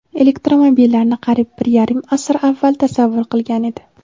elektromobillarni qariyb bir yarim asr avval tasavvur qilgan edi.